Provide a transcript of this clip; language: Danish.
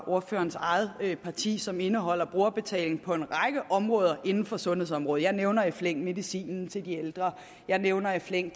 ordførerens eget parti som indeholder stigende brugerbetaling på en række områder inden for sundhedsområdet jeg nævner i flæng medicin til de ældre jeg nævner i flæng